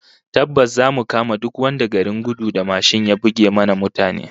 Tabbas zamu kama duk wanda garin gudu da mashin ya buge mana mutane